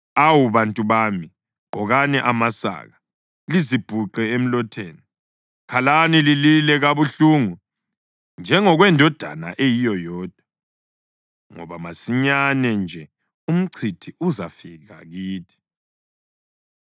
Awu bantu bami, gqokani amasaka, lizibhuqe emlotheni, khalani lilile kabuhlungu njengokwendodana eyiyo yodwa, ngoba masinyane nje umchithi uzafika kithi.